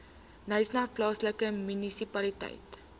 knysna plaaslike munisipaliteit